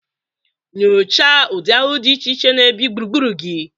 Nyochaa ụdị ahụhụ dị iche iche na-ebi gburugburu gị.